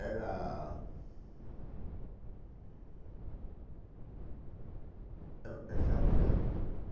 Era... É é café.